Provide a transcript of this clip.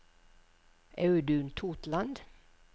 Audun Totland